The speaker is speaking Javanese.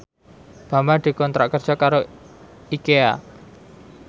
Bambang dikontrak kerja karo Ikea